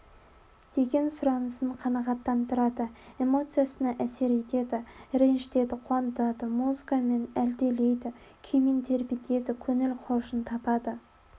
деген сұранысын қанағаттандарады эмоциясына әсер етеді ренжітеді қуантады музыкамен әлдилейді күймен тербетеді көңіл хошын табады